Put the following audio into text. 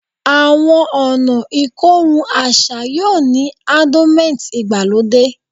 Awọn ọna ikorun aṣa yoo ni ardonment igbalode